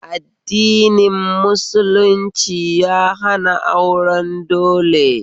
Addini musulunci ya hana auren dole